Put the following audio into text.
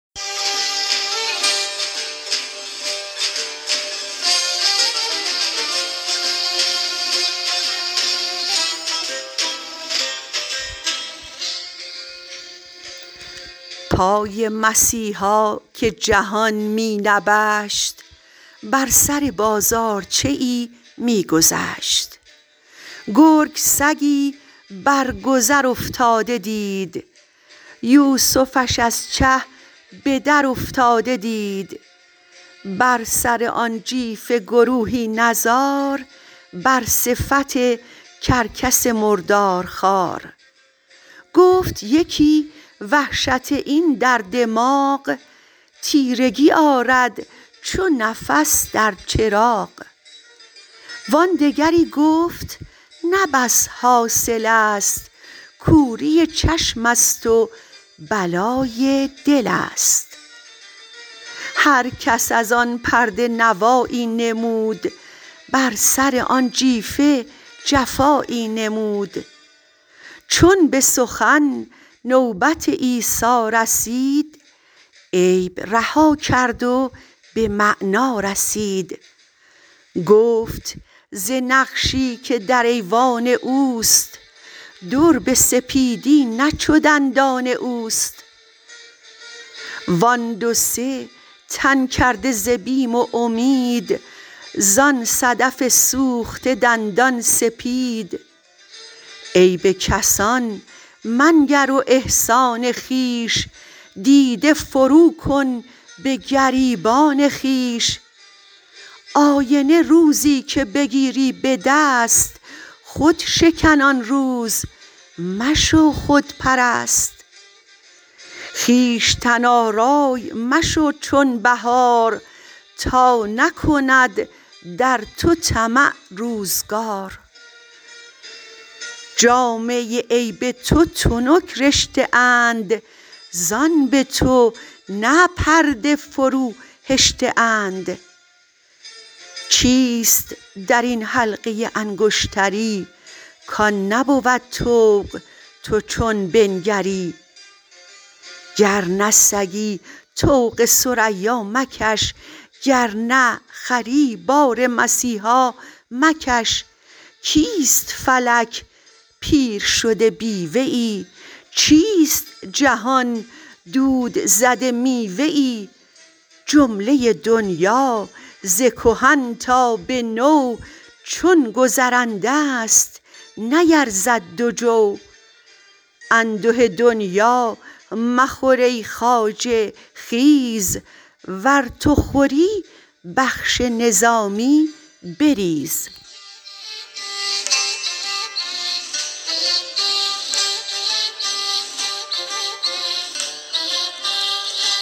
پای مسیحا که جهان می نبشت بر سر بازارچه ای می گذشت گرگ سگی بر گذر افتاده دید یوسفش از چه به در افتاده دید بر سر آن جیفه گروهی نظار بر صفت کرکس مردار خوار گفت یکی وحشت این در دماغ تیرگی آرد چو نفس در چراغ وان دگری گفت نه بس حاصل است کوری چشم است و بلای دل است هر کس ازآن پرده نوایی نمود بر سر آن جیفه جفایی نمود چون به سخن نوبت عیسی رسید عیب رها کرد و به معنا رسید گفت ز نقشی که در ایوان اوست در به سپیدی نه چو دندان اوست وان دو سه تن کرده ز بیم و امید زان صدف سوخته دندان سپید عیب کسان منگر و احسان خویش دیده فرو کن به گریبان خویش آینه روزی که بگیری به دست خود شکن آن روز مشو خودپرست خویشتن آرای مشو چون بهار تا نکند در تو طمع روزگار جامه عیب تو تنک رشته اند زان به تو نه پرده فروهشته اند چیست درین حلقه انگشتری کان نبود طوق تو چون بنگری گر نه سگی طوق ثریا مکش گر نه خری بار مسیحا مکش کیست فلک پیرشده بیوه ای چیست جهان دود زده میوه ای جمله دنیا ز کهن تا به نو چون گذرنده است نیرزد دو جو انده دنیا مخور ای خواجه خیز ور تو خوری بخش نظامی بریز